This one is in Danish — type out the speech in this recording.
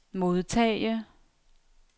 modtage